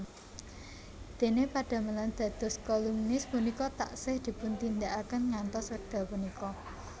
Dene padamelan dados kolumnis punika taksih dipuntindakaken ngantos wekdal punika